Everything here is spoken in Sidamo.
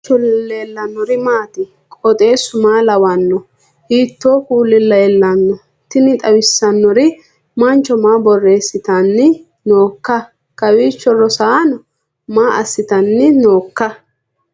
kowiicho leellannori maati ? qooxeessu maa lawaanno ? hiitoo kuuli leellanno ? tini xawissannori mancho maa borreessitanni nooikka kowiicho rosaano maa assitanni nooikka